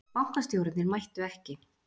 Bankastjórarnir mættu ekki